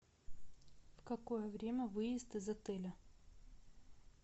в какое время выезд из отеля